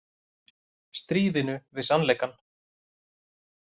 Stríðinu við sannleikann